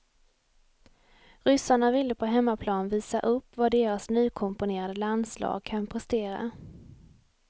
Ryssarna ville på hemmaplan visa upp vad deras nykomponerade landslag kan prestera.